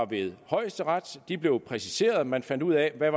ved højesteret de blev præciseret og man fandt ud af hvad